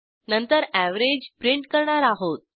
नंतर average print करणार आहोत